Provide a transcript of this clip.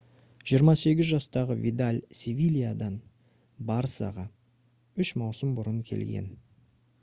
28 жастағы видаль «севильядан» «барсаға» үш маусым бұрын келген